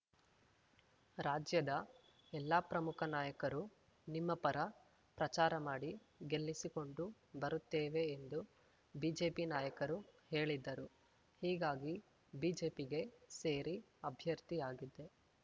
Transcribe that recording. ರಾಜ್ಯದ ಎಲ್ಲಾ ಪ್ರಮುಖ ನಾಯಕರು ನಿಮ್ಮ ಪರ ಪ್ರಚಾರ ಮಾಡಿ ಗೆಲ್ಲಿಸಿಕೊಂಡು ಬರುತ್ತೇವೆ ಎಂದು ಬಿಜೆಪಿ ನಾಯಕರು ಹೇಳಿದ್ದರು ಹೀಗಾಗಿ ಬಿಜೆಪಿಗೆ ಸೇರಿ ಅಭ್ಯರ್ಥಿಯಾಗಿದ್ದೆ